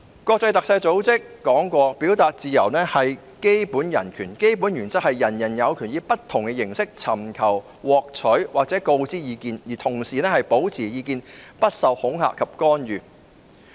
國際特赦組織表示，表達自由是基本人權，基本原則是人人有權以不同形式尋求、獲取或告知意見，而同時保持意見不受恐嚇及干預。